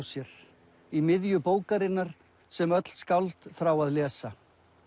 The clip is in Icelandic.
sér í miðju bókarinnar sem öll skáld þrá að lesa